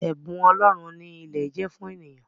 Ẹ̀bùn ọlọ́run ni ilẹ̀ jẹ́ fún eniyan